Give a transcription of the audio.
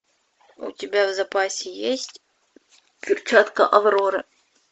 у тебя в запасе есть перчатка авроры